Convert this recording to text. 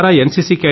మీ ద్వారా ఎన్